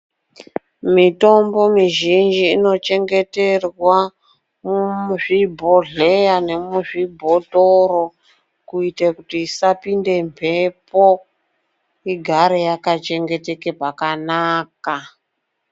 Mitombo mizhinji inochengeterwa muzvibhodhleya nemuzvhibhotoro kuita kuti isapinde mhepo igare yakachengeteka zvakanaka.